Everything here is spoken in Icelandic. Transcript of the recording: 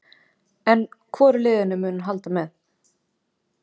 En hvoru liðinu mun hún halda með?